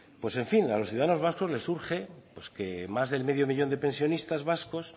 pues en fin a los ciudadanos vascos les urge que más del medio millón de pensionistas vascos